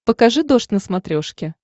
покажи дождь на смотрешке